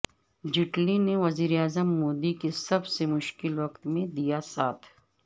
جیٹلی نے وزیراعظم مودی کےسب سے مشکل وقت میں دیا ساتھ